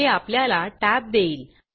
हे आपल्याला टॅब देईल